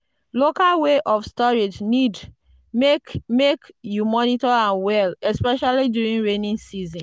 local way of storage need make make you monitor am well especially during rainy season.